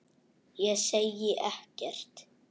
Ég segi ekkert.